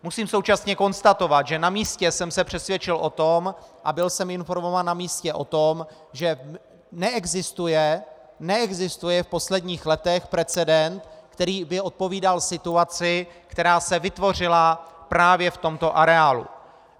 Musím současně konstatovat, že na místě jsem se přesvědčil o tom a byl jsem informován na místě o tom, že neexistuje v posledních letech precedent, který by odpovídal situaci, která se vytvořila právě v tomto areálu.